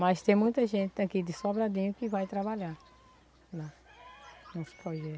Mas tem muita gente aqui de Sobradinho que vai trabalhar lá nos